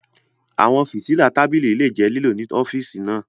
Àwọn fìtílà tábìlì lè jẹ́ lílò ní ọ́fíìsì náà.